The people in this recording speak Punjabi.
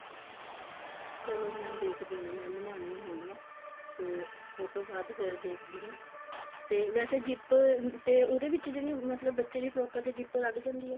ਚਲੋ ਮੈਂ ਦੇਖਦੀ ਹਾਂ ਬਣਾਨੀ ਹੈਗੀ ਆ ਤੇ ਉਹ ਤੋਂ ਬਾਅਦ ਫੇਰ ਦੇਖਦੀ ਹਾਂ ਤੇ ਵੈਸੇ zip ਤੇ ਉਹਦੇ ਵਿੱਚ ਜਿਹੜੀ ਮਤਲਬ ਬੱਚਿਆ ਦੀ frock ਆ ਦੇ ਉੱਪਰ zip ਲੱਗ ਜਾਂਦੀ ਐ